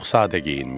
Çox sadə geyinmişdi.